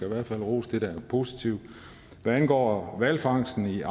i hvert fald rose det der er positivt hvad angår hvalfangsten